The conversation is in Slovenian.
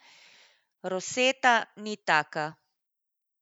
Rosetta ni taka.